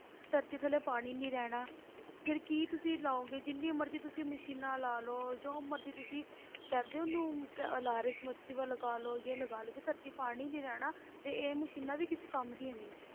ਧਰਤੀ ਥੱਲੇ ਪਾਣੀ ਨੀ ਰਹਿਣਾ ਫਿਰ ਕੀ ਤੁਸੀਂ ਲਾਓਗੇ ਜਿੰਨੀ ਮਰਜ਼ੀ ਤੁਸੀਂ ਮਸ਼ੀਨਾਂ ਲਾ ਲਓ ਜੋ ਮਰਜ਼ੀ ਤੁਸੀਂ ਕਹਿੰਦੇ ਉਹਨੂੰ ਕਿ ਲਗਾ ਲਓ ਜੇ ਲਗਾ ਲਓ ਜੇ ਧਰਤੀ ਪਾਣੀ ਨੀ ਰਹਿਣਾ ਤੇ ਇਹ ਮਸ਼ੀਨਾਂ ਵੀ ਕਿਸੇ ਕੰਮ ਦੀਆਂ ਨੀ ਹੈ